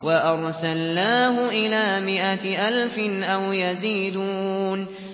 وَأَرْسَلْنَاهُ إِلَىٰ مِائَةِ أَلْفٍ أَوْ يَزِيدُونَ